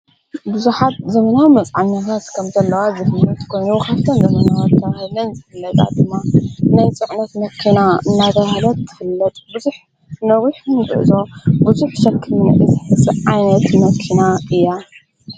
ብዙኃት ዘምናዊ መፃዓነታስ ከምዘለዋት ዘኽት ጐኑ ወኻፍተን ዘምናት እተብሃለን ዘፍለጣ ድማ ናይ ፂዕነት ነኪና እናድሃነት ትፍለጡ ብዙኅ ነዊኅ ምብዕዞ ብዙኅ ሰክምኒእት ዓይነት መኪና እያ